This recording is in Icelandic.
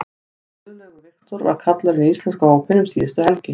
Guðlaugur Victor var kallaður inn í íslenska hópinn um síðustu helgi.